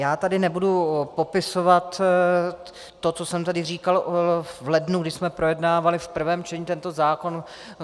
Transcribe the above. Já tady nebudu popisovat to, co jsem tady říkal v lednu, když jsme projednávali v prvém čtení tento zákon.